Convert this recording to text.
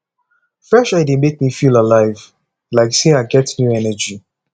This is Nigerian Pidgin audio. fresh air dey make me feel alive like sey i get new energy